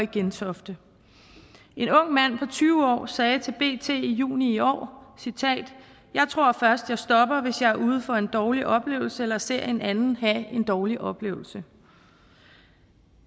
gentofte en ung mand på tyve år sagde til bt i juni i år jeg tror først jeg stopper hvis jeg er ude for en dårlig oplevelse eller ser en anden have en dårlig oplevelse